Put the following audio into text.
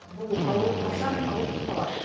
бұл ауру қашан ауыздықталады